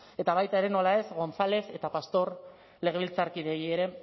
eta baita ere nola ez gonzález eta pastor legebiltzarkideei ere